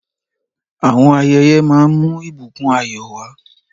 Àwọn ayẹyẹ máa ń mú ìbùkún ayọ̀ wá.